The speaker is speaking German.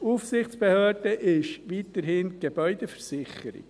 Aufsichtsbehörde ist weiterhin die GVB.